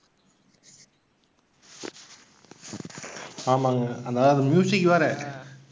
ஆமாங்க அந்த அந்த வேற.